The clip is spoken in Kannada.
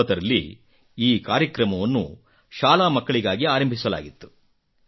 2019 ರಲ್ಲಿ ಈ ಕಾರ್ಯಕ್ರಮವನ್ನು ಶಾಲಾ ಮಕ್ಕಳಿಗಾಗಿ ಆರಂಭಿಸಲಾಗಿತ್ತು